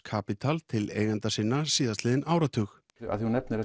Capital til eigenda sinna síðastliðin áratug þú nefnir